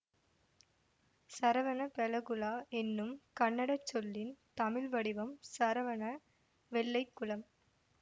சரவணபெலகுளா என்னும் கன்னடச் சொல்லின் தமிழ் வடிவம் சரவண வெள்ளைக்குளம்